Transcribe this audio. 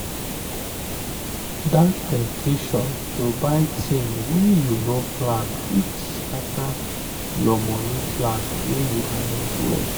that temptation to buy thing wey you no plan before fit scatter your money plan wey you arrange well.